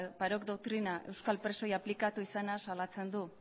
parot doktrina euskal presoi aplikatu izanaz salatzen du